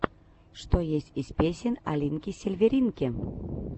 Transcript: что есть из песен алинки сильверинки